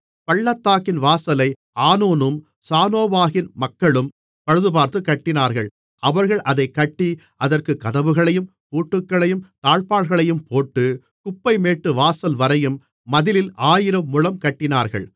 பள்ளத்தாக்கின்வாசலை ஆனூனும் சானோவாகின் மக்களும் பழுதுபார்த்துக் கட்டினார்கள் அவர்கள் அதைக் கட்டி அதற்குக் கதவுகளையும் பூட்டுகளையும் தாழ்ப்பாள்களையும் போட்டு குப்பைமேட்டு வாசல்வரையும் மதிலில் ஆயிரம் முழம் கட்டினார்கள்